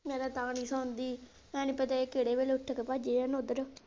ਮੈਂ ਤਾਂ ਤਾਂ ਨੀ ਸੌਂਦੀ ਭੈਣੇ ਪਤਾ ਆ ਕਿਹੜੇ ਵੇਲੇ ਉੱਠ ਕੇ ਭੱਜ ਜਾਣ ਓਧਰ।